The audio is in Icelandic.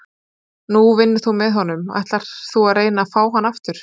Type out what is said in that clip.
Nú vinnur þú með honum, ætlar þú að reyna að fá hann aftur?